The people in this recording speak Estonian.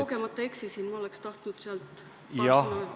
Ma kogemata eksisin, ma oleksin tahtnud sealt puldist paar sõna öelda.